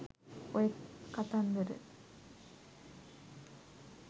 ඔය කතන්දර